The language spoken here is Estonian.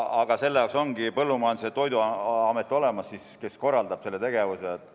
Aga selle jaoks ongi olemas Põllumajandus- ja Toiduamet, kes korraldab selle tegevuse.